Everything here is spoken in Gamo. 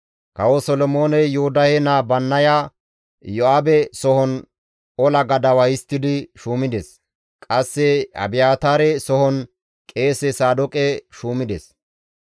Kawo Solomooney Yoodahe naa Bannaya Iyo7aabe sohon ola gadawa histtidi shuumides; qasse Abiyaataare sohon qeese Saadooqe shuumides.